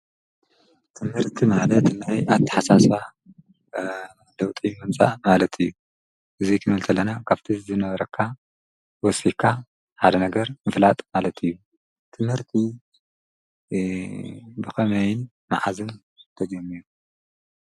ትምህርቲ ማለት ናይ ኣታሓሳስባ ለውጢ ምምፃእ ማለት እዩ፡፡ እዚ ክንብል ከለና ካብቲ ዝነበረካ ወሲኽካ ሓደ ነገር ምፍላጥ ማለት እዩ፡፡ ትምህርቲ ብኸመይን መዓዝን የዲሊ?